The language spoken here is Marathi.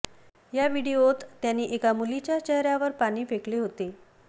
या व्हिडिओत त्यानं एका मुलीच्या चेहऱ्यावर पाणी फेकले होते